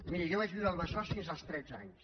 miri jo vaig viure al besós fins el tretze anys